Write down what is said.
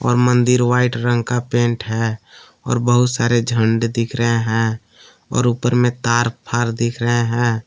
मंदिर वाइट रंग का पेंट है और बहुत सारे झंडे दिख रहे हैं और ऊपर में तार फार दिख रहे हैं।